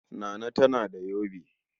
Nana tana da yobe.